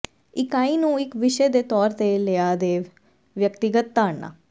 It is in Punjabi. ਇਕਾਈ ਨੂੰ ਇੱਕ ਵਿਸ਼ੇ ਦੇ ਤੌਰ ਤੇ ਲਿਆ ਦੇ ਵਿਅਕਤੀਗਤ ਧਾਰਨਾ